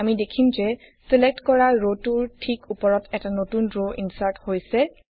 আমি দেখিম যে ছিলেক্ট কৰা ৰটোৰ ঠিক উপৰত এটা নতুন ৰ ইনচাৰ্ট হৈছে